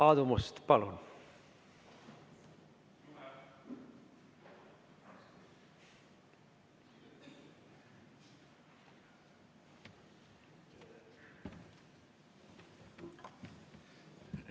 Aadu Must, palun!